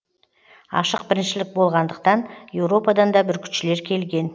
ашық біріншілік болғандықтан еуропадан да бүркітшілер келген